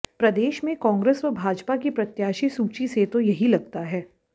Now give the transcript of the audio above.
प्रदेश में कांग्रेस व भाजपा की प्रत्याशी सूची से तो यही लगता है